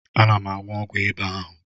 Ana m aṅụ ọgwụ ịba ahu.